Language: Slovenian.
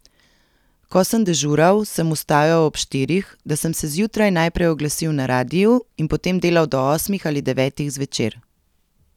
Ko sem dežural, sem vstajal ob štirih, da sem se zjutraj najprej oglasil na radiu in potem delal do osmih ali devetih zvečer.